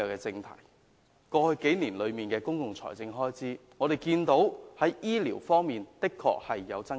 就過去數年的公共財政開支而言，醫療方面的確有所增加。